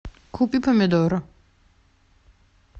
купи помидоры